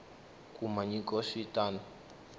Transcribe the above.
kuma nyiko swi ta n